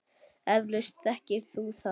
Eflaust þekkir þú það.